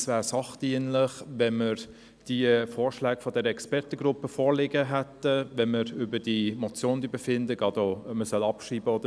Es wäre sachdienlich, wenn wir die Vorschläge der Expertengruppe vorliegen hätten, wenn wir über die Motion, insbesondere auch hinsichtlich der Abschreibung, befinden.